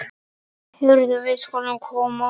Heyrðu, við skulum koma.